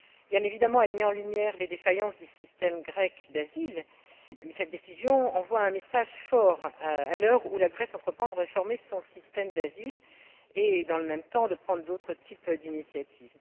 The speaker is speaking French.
Bien évidemment, elle met en lumière les défaillances du système grec d'asile mais elle envoie aussi un message fort à l'heure où la Grèce entreprend de réformer son système d'asile et, dans le même temps, de prendre d'autres types d'initiatives.